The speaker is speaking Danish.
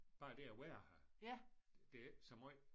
Bare det at være her. Det er ikke så måj